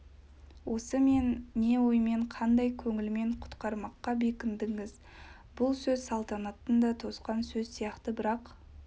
осы мен не оймен қандай көңілмен құтқармаққа бекіндіңіз бұл сөз салтанаттың да тосқан сөз сияқты бірақ